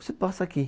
Você passa aqui.